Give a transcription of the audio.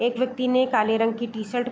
एक व्यक्ति ने काले रंग की टी-शर्ट --